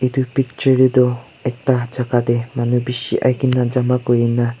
Etu picture dae tuh ekta jaka dae manu beshi ahikena jama kurina--